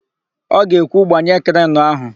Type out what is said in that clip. Ọ ga-ekwu, "gbanye krenu áhụ̀"!